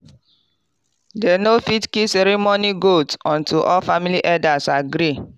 dem no fit kill ceremony goat until all family elders agree.